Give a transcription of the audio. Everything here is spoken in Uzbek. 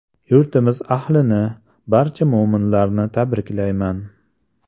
Yurtimiz ahlini, barcha mo‘minlarni tabriklayman!